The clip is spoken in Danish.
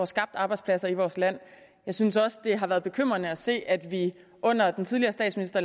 skabt arbejdspladser i vores land jeg synes også det har været bekymrende at se at vi under den tidligere statsminister